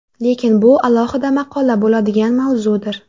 Lekin bu alohida maqola bo‘ladigan mavzudir.